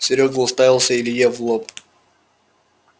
серёга уставился илье в лоб